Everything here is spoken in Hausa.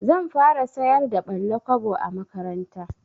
Zan fara sayar da ɓalla-kwabo a makaranta.